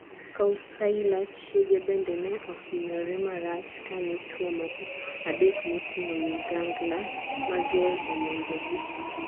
Kausalya chiege bende ne ohinyore marach kane chwo moko adek moting'o ligangla mager omonjogi.